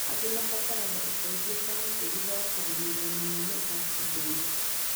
Angĩ mabataraga ũteithio ta ũcio thutha wa kũgũmĩrũo mũno nĩ aksidenti.